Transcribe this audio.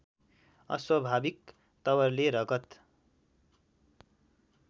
अस्वभाविक तवरले रगत